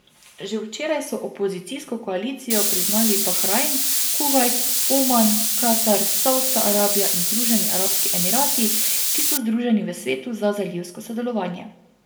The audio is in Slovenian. Že včeraj so opozicijsko koalicijo priznali Bahrajn, Kuvajt, Oman, Katar, Savdska Arabija in Združeni arabski emirati, ki so združeni v Svetu za zalivsko sodelovanje.